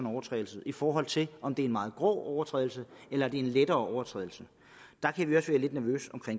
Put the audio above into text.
overtrædelse i forhold til om det er en meget grov overtrædelse eller det er en lettere overtrædelse